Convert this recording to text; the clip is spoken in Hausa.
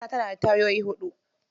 Mota tana da tayoyi huɗu.